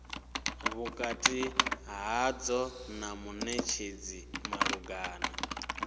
vhukati hadzo na munetshedzi malugana